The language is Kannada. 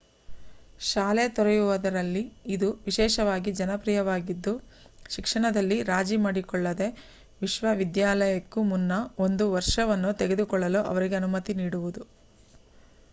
ಶಾಲೆ ತೊರೆಯುವವರಲ್ಲಿ ಇದು ವಿಶೇಷವಾಗಿ ಜನಪ್ರಿಯವಾಗಿದ್ದು ಶಿಕ್ಷಣದಲ್ಲಿ ರಾಜಿ ಮಾಡಿಕೊಳ್ಳದೇ ವಿಶ್ವವಿದ್ಯಾಲಯಕ್ಕೂ ಮುನ್ನ ಒಂದು ವರ್ಷವನ್ನು ತೆಗೆದುಕೊಳ್ಳಲು ಅವರಿಗೆ ಅನುಮತಿ ನೀಡುವುದು